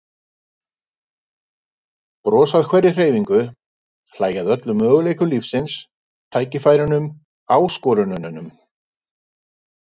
Brosa að hverri hreyfingu, hlæja að öllum möguleikum lífsins, tækifærunum, áskorununum.